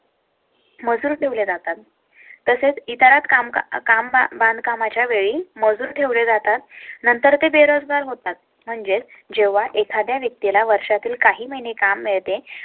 मजूर ठेवले जातात तसेच इतर काम बांधकामा च्या वेळी मजूर ठेवले जातात. नंतर ते बेरोजगार होतात. म्हणजे जेव्हा एखाद्या व्यक्ती ला वर्षा तील काही महिने काम मिळते